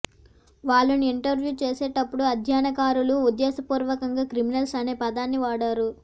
వాళ్లను ఇంటర్వ్యూ చేసేటప్పుడు అధ్యయనకారులు ఉద్దేశపూర్వకంగా క్రిమినల్స్ అనే పదాన్నే వాడారు